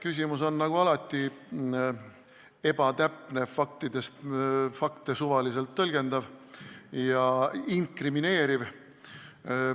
Küsimus on nagu alati ebatäpne, fakte suvaliselt tõlgendav ja inkrimineeriv.